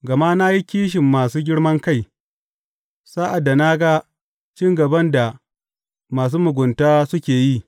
Gama na yi kishin masu girman kai sa’ad da na ga cin gaban da masu mugunta suke yi.